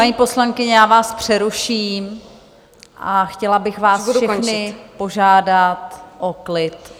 Paní poslankyně, já vás přeruším a chtěla bych vás všechny požádat o klid.